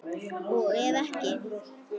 Og ef ekki?